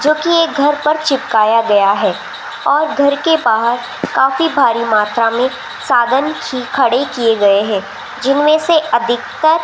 जोकि एक घर पर चिपकाया गया है और घर के बाहर काफी भारी मात्रा में साधन की खड़े किए गए हैं जिनमें से अधिकतर --